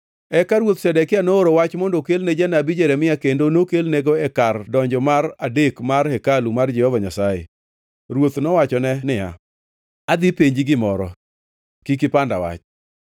Eka Ruoth Zedekia nooro wach mondo okelne janabi Jeremia kendo nokelnego e kar donjo mar adek mar hekalu mar Jehova Nyasaye. Ruoth nowachone niya, “Adhi penji gimoro. Kik ipanda wach.”